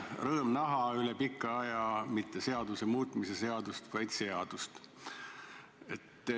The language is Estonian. Rõõm näha üle pika aja mitte seaduse muutmise seadust, vaid seadust.